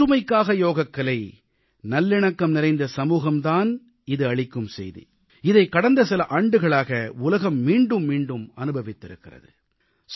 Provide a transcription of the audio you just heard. ஒற்றுமைக்காக யோகக்கலை நல்லிணக்கம் நிறைந்த சமூகம் தான் இது அளிக்கும் செய்தி இதைக் கடந்த சில ஆண்டுகளாக உலகம் மீண்டும் மீண்டும் அனுபவித்திருக்கிறது